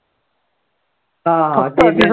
हा हा